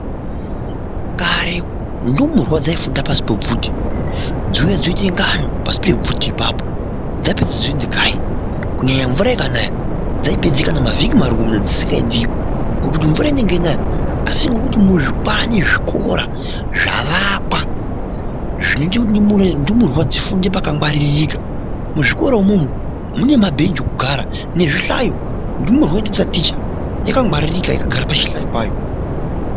Kare ndumurwa dzaifunda pasi pebvute dzouya dzoite ngano pasi pebvute ipapo dzapedze dzoende kanyi kunyanya mvura ikanaya dzaipedze kana mavhiki marongomuna dzisikaendiyo ngokuti mvura inenge yeinaya. Asi ngokuti muzvibani zvikora zvavakwa zvinoita kuti ndumurwa dzifunde pakangwaririka. Muzvikora imomo mune mabhenji okugara nezvihlayo ndumurwa ichitotaticha yakangwaririka yakagara pachihlayo payo.